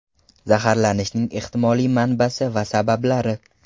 Zaharlanishning ehtimoliy manbasi va sabablari.